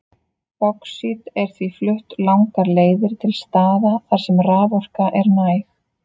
Báxít er því flutt langar leiðir til staða þar sem raforka er næg.